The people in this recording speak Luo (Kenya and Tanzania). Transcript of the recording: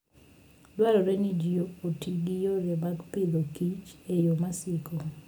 Dwarore ni ji oti gi yore mag Agriculture and Foode yo masiko.